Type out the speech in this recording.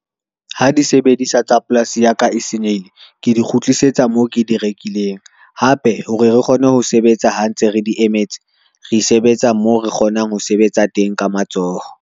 Ha di sebedisa tsa polasi ya ka e senyehile, ke di kgutlisetsa moo ke di rekileng. Hape hore re kgone ho sebetsa ha ntse re di emetse, re sebetsa moo re kgonang ho sebetsa teng ka matsoho.